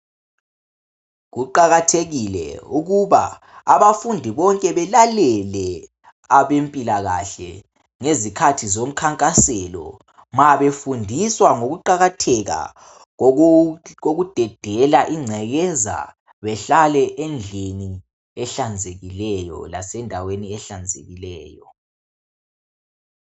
Kuqakathekile ukuba abafundi bonke belalele abempilakahle ngezikhathi zomkhankaselo mabefundiswa ngokuqakatheka kokudedela ingcekeza behlale endlini ehlanzekileyo lasendaweni ehlanzekileyo